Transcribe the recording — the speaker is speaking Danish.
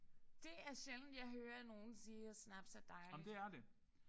Det er sjældent jeg hører nogen sige at snaps er dejligt